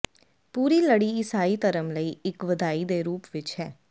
ਪੂਰੀ ਲੜੀ ਈਸਾਈ ਧਰਮ ਲਈ ਇੱਕ ਵਧਾਈ ਦੇ ਰੂਪ ਵਿੱਚ ਹੈ